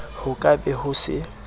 ho ka be ho se